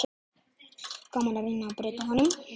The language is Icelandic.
Gaman að reyna að breyta honum.